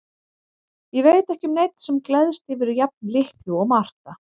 Ég veit ekki um neinn sem gleðst yfir jafn litlu og Marta.